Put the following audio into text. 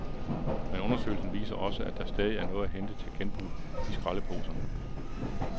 Men undersøgelsen viser også, at der stadig er noget at hente til genbrug i skraldeposerne.